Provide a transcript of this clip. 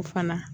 O fana